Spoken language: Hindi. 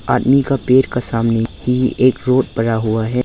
आदमी का पेट का सामने ये एक रोड बना हुआ है।